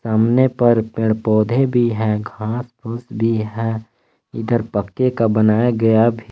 सामने पर पेड़ पौधे भी हैं घास फूस भी है इधर पक्के का बनाया गया भी--